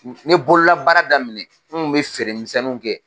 N ɲe bololabaara daminɛ n kun me feere misɛnnun kɛ.